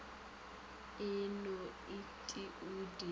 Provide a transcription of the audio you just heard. a no et o di